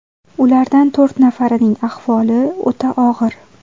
Ulardan to‘rt nafarining ahvoli o‘ta og‘ir.